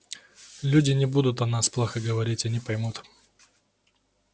люди не будут о нас плохо говорить они поймут